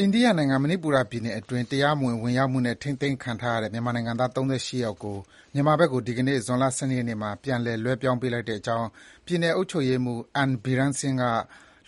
အိန္ဒိယနိုင်ငံ၊ မဏိပူရပြည်နယ်အတွင်း တရားမဝင် ဝင်ရောက်မှုနဲ့ ထိန်းသိမ်းခံထားရတဲ့ မြန်မာနိုင်ငံသား ၃၈ ယောက်ကို မြန်မာဘက်ကို ဒီကနေ့ ဇွန်လ ၁၂ ရက်နေ့မှာ ပြန်လည် လွဲပြောင်းပေးလိုက်ကြောင်း ပြည်နယ် အုပ်ချုပ်ရေးမှူး N. Biren Singh က